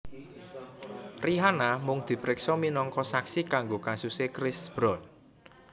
Rihanna mung dipriksa minangka saksi kanggo kasuse Chris Brown